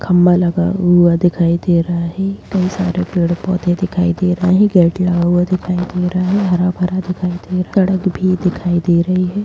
खंभा लगा हुआ दिखाई दे रहा है बहोत सारे पेड़-पौधे दिखाई दे रहे हैं गेट लगा हुआ दिखाई दे रहा है हरा-भरा दिखाई दे रहा है सड़क भी दिखाई दे रही है।